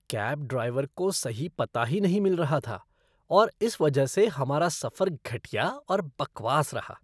Cab driver को सही पता ही नहीं मिल रहा था और इस वजह से हमारा सफर घटिया और बकवास रहा।